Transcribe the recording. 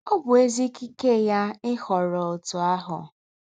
Ọ́ bụ́ èzí̄ ìkíkẹ̀ yá íhọ́rọ̀ ǒtụ́ àhụ́.